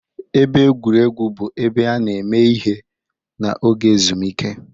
Ebe egwuregwu bụ ebe a na-eme ihe n'oge ezumike.